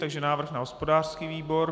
Takže návrh na hospodářský výbor.